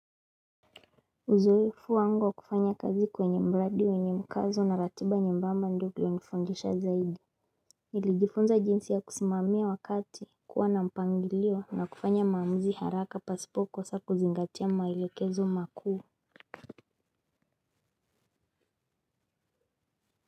Uzoefu wango wakufanya kazi kwenye mradi wenye mkazo na ratiba nyembama ndio kili nifundisha zaidi. Nilijifunza jinsi ya kusimamia wakati kuwa na mpangilio na kufanya maamuzi haraka pasipo kosa kuzingatia maelekezo makuu.